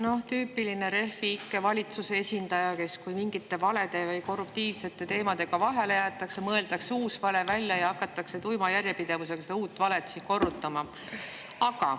No tüüpiline Refi ikke valitsuse esindaja: kui mingite valede või korruptiivsete teemadega vahele jäädakse, mõeldakse uus vale välja ja hakatakse tuima järjepidevusega seda uut valet siin korrutama.